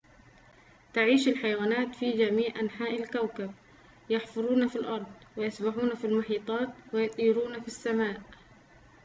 تعيش الحيوانات في جميع أنحاء الكوكب يحفرون في الأرض ويسبحون في المحيطات ويطيرون في السماء